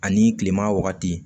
Ani kilema wagati